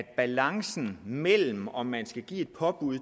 en balance mellem om man skal give et påbud